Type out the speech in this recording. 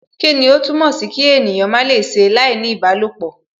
Kíni ó túmọ̀ sìí kí ènìyàn má lè ṣe láìní ìbálòpọ?